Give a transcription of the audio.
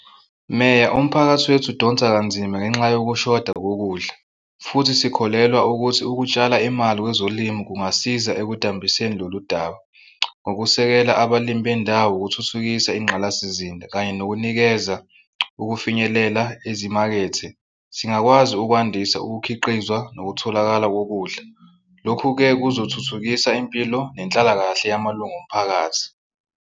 Meya, umphakathi wethu udonsa kanzima ngenxa yokushoda kokudla. Futhi sikholelwa ukuthi ukutshala imali kwezolimo kungasiza ekudambiseni lolu daba. Ngokusekela abalimi bendawo, ukuthuthukisa inqalasizinda sizinda kanye nokunikeza ukufinyelela ezimakethe singakwazi ukwandisa ukukhiqizwa nokutholakala kokudla. Lokhu-ke kuzothuthukisa impilo nenhlalakahle yamalunga omphakathi.